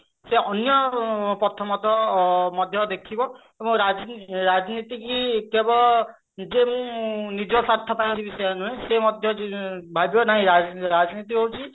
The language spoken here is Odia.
ସେ ଅନ୍ୟ ପ୍ରଥମତଃ ମଧ୍ୟ ଦେଖିବ ଏବଂ ରାଜନୀତି ରାଜନୀତିକି କେବଳ ଯେ ନିଜ ସ୍ଵାର୍ଥ ପାଇଁ କରିବି ସେୟା ନୁହେଁ ସେ ମଧ୍ୟ ଭାବିବ କି ରାଜନୀତି ନାଇଁ ରାଜନୀତି ହଉଛି